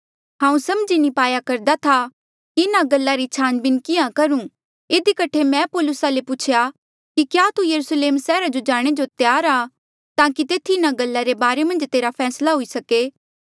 हांऊँ समझी नी पाया करदा था कि इन्हा गल्ला री छानबीन किहाँ करूं इधी कठे मैं पौलुसा ले पूछेया कि क्या तू यरुस्लेम सैहरा जो जाणे जो त्यार आ ताकि तेथी इन्हा गल्ला रे बारे मन्झ तेरा फैसला हुई सके